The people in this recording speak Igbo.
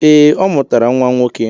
Ee, ọ mụtara nwa nwoke.